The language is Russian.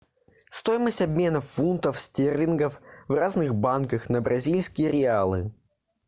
стоимость обмена фунтов стерлингов в разных банках на бразильские реалы